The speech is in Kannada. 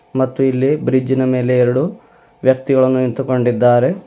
ಮತ್ತು ಇಲ್ಲಿ ಬ್ರಿಡ್ಜ್ ಇನ ಮೇಲೆ ಎರಡು ವ್ಯಕ್ತಿಗಳು ನಿಂತುಕೊಂಡಿದ್ದಾರೆ.